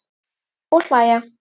Og hlæja.